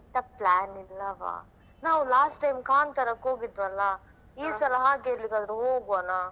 ಎಂತ plan ಇಲ್ಲವಾ ನಾವ್ last time ಕಾಂತಾರಕ್ಕೆ ಹೋಗಿದ್ವೆ ಅಲ್ಲಾ ಹಾ ಈ ಸಲ ಹಾಗೆ ಎಲ್ಲಿಗಾದ್ರೆ ಹೋಗ್ವಾನ?